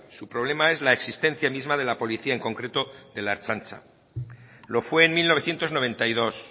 su problema es la existencia misma de la policía en concreto de la ertzaintza lo fue en mil novecientos noventa y dos